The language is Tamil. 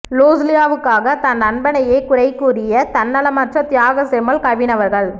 லூஸ்லியாவுக்காக தன் நண்பனையே குறை கூறிய தன்னலமற்ற தியாக செம்மல் கவின் அவர்கள்